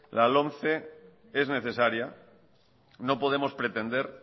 la lomce es necesaria no podemos pretender